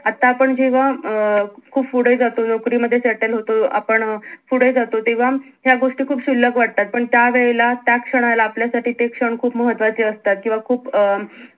आता आपण जेव्हा अं खूप पुढे जातो नोकरी मध्ये settle होतो आपण पुढे जातो तेव्हा ह्या गोष्टी खूप शुल्लक वाटतात पण त्या वेळेला त्या क्षणाला आपल्या साठी ते क्षण खूप महत्वाचे असतात किव्हा खूप अं